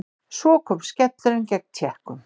Svo kom skellurinn gegn Tékkum.